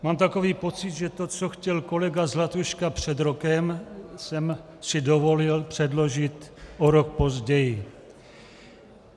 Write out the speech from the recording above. Mám takový pocit, že to, co chtěl kolega Zlatuška před rokem, jsem si dovolil předložit o rok později.